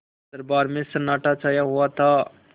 दरबार में सन्नाटा छाया हुआ था